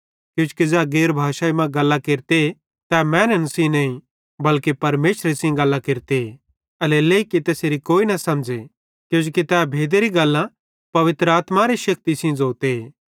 किजोकि ज़ै गैर भाषाई मां गल्लां केरते तै मैनन् सेइं नईं बल्के परमेशरे सेइं गल्लां केरते एल्हेरेलेइ कि तैसेरी कोई न समझ़े किजोकि तै भेदेरी गल्लां पवित्र आत्मारे शेक्ति सेइं ज़ोते